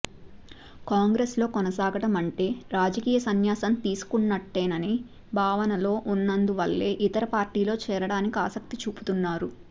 కాంగ్రెస్ లో కొనసాగడం అంటే రాజకీయ సన్యాసం తీసుకున్నట్టేననే భావనలో ఉన్నందు వల్లే ఇతర పార్టీల్లో చేరడానికి ఆసక్తి చూపుతున్నారు